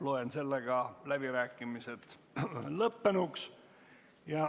Loen sellega läbirääkimised lõppenuks.